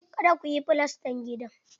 Kada kuyi filastan gidan!